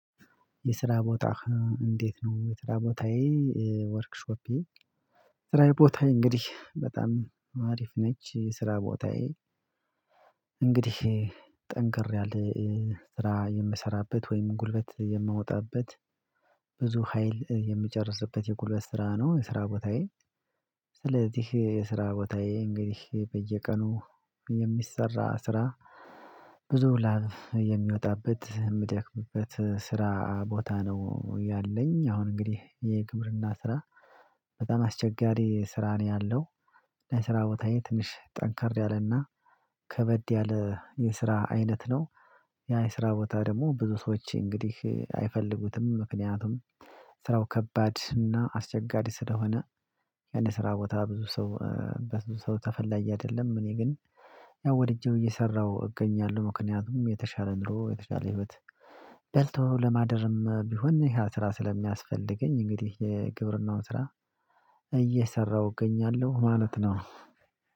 የስራ ቦታህ እንዴት ነው? የስራ ቦታዬ ወርክሾፕ ስራዬ ቦታዬ እንግዲህ በጣም አሪፍ ነች ስራ ቦታዬ። እንግዲህ ጠንክር ያለ ስራ የምሰራበት ወይም ጉልበት የምወጣበት ብዙ ሀይል የምጨርስበት የጉልበት ስራ ነው የስራ ቦታዬ። ስለዚህ የስራ ቦታዬ እንግዲህ በየቀኑ የሚሰራ ስራ ብዙ ላብ የሚወጣበት የምደክምበት ስራ ቦታ ነው ያለኝ አሁን እንግዲህ የግብርና ስራ በጣም አስቸጋሪ ስራ ነው ያለው። ለስራ ቦታዬ ትንሽ ጠንከራ ያለና ከበድ ያለ የስራ አይነት ነው። ያ የስራ ቦታ ደግሞ ብዙ ሰዎች እንግዲህ አይፈልጉትም ምክንያቱም ስራው ከባድ እና አስቸጋሪ ስለሆነ። የአንድ ስራ ቦታ ብዙ ሰው በብዙ ሰው ተፈላጊ አይደለም። እኔ ግን ያው ወድጄው እየሰራሁ እገኛለሁ ምክንያቱም የተሻለ ኑሮ የተሻለ ህይወት። በልቶ ለማደርም ቢሆን ይሄ ስራ ስለሚያስፈልገኝ እንግዲህ የግብርናውን ስራ እየሰራሁ እገኛለሁ ማለት ነው።